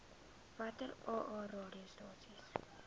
watter aa radiostasies